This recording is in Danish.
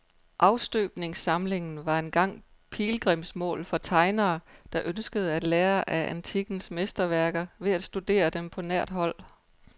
Afstøbningssamlingen var engang pilgrimsmål for tegnere, der ønskede at lære af antikkens mesterværker ved at studere dem på nært hold.